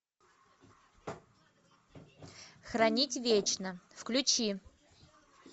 хранить вечно включи